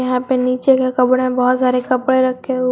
यहां पे नीचे के कबर्ड में बहुत सारे कपड़े रखे हुए--